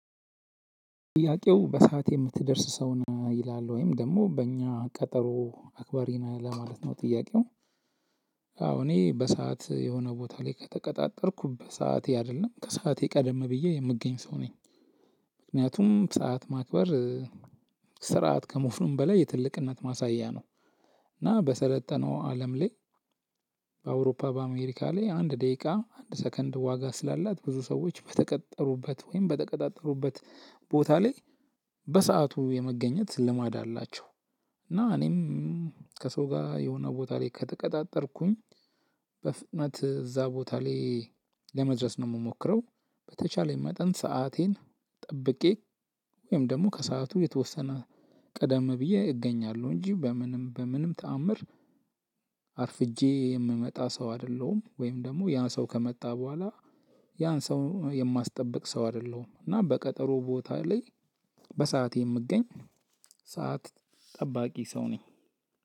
ጥያቄው በሰአት የምትደርስ ሰው ነህ ወይ? ይላል ወይም ደግሞ በእኛ ቀጠሮ አክባሪነህ? ለማለት ነው ጥያቄው። አዎ እኔ በሰአት የሆነ ቦታ ላይ ከተቀጣጠርኩ በሰአቴ አይደለም ከሰአቴ ቀደም ብዬ የምገኝ ሰው ነኝ። ምክንያቱም ሰዓት ማክበር ስርዓት ከሞፍኑም በላይ የትልቅነት ማሳያ ነው። እና በሰለጠነው አለም ላይ በአውሮፓ፣ በአሜሪካ ላይ አንድ ደቂቃ አንድ ሰከንድ ዋጋ ስላላት ብዙ ሰዎች በተቀጠሩበት ወይም በተቀጣጠሩበት ቦታ ላይ በሰአቱ የመገኘት ልማድ አላቸው። እና እኔም ከሰው ጋር የሆነ ቦታ ላይ ከተቀጣጠርኩኝ። በፍጥነት እዛ ቦታ ላይ ለመድረስ ነው የምሞክረው በተቻለኝ መጠን ሰአቴን ጠብቄ ወይም ደግሞ ከሰአቱ የተወሰነ ቀደም ብዬ እገኛለሁ። እንጂ በምንም በምንም ተአምር አርፍጄ የምመጣ ሰው አይደለሁም ወይም ደግሞ ያን ሰው ከመጣ በኋላ ያን ሰው የማስጠብቅ ሰው አይደለሁም። እና በቀጠሮ ቦታ ላይ በሰአቴ የምገኝ ሰዓት ጠባቂ ሰው ነኝ።